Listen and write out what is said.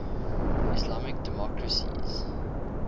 islamic democracies